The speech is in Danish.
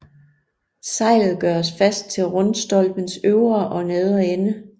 Sejlet gøres fast til rundstolpens øvre og nedre ende